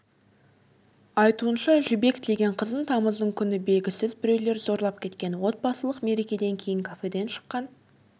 айтуынша жібек деген қызын тамыздың күні белгісіз біреулер зорлап кеткен отбасылық мерекеден кейін кафеден шыққан